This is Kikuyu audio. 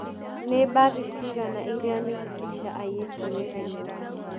Nĩ mbathi cigana iria Nick Fisher aiyĩte wĩra-inĩ wake